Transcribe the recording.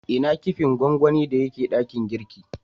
Ina kipin gwangwani da ya ke dakin girki?